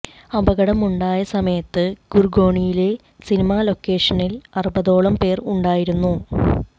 അപകടം ഉണ്ടായ സമയത്ത് ഗുർഗോണിലെ സിനിമ ലൊക്കേഷനിൽ അറുപതോളം പേർ ഉണ്ടായിരുന്നു